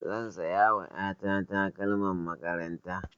Zan saya wa ƴa ta takalman makaranta.